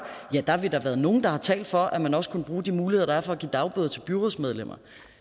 ja der har vi da været nogle der har talt for at man også kunne bruge de muligheder der er for at give dagbøder til byrådsmedlemmer